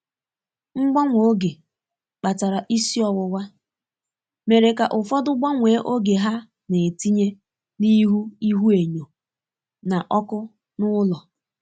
Mgbanwe oge kpatara isi owuwa, mere ka ụfọdụ gbanwee oge ha na-etinye n’ihu ihuenyo na ọkụ n’ụlọ.